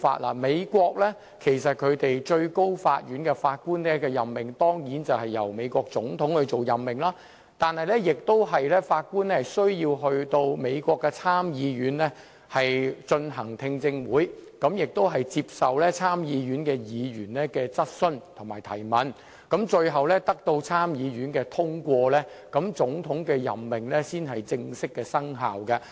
在美國，最高法院的法官當然是由美國總統作出任命，但法官亦須出席美國參議院的聽證會，接受參議員的質詢，最後要獲得參議院通過，總統的任命才正式生效。